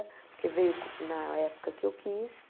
Porque veio na época que eu quis.